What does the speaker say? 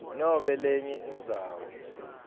nobe lenye indzawo